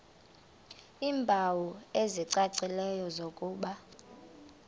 iimpawu ezicacileyo zokuba